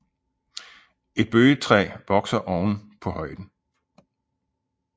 Et bøgetræ vokser oven på højen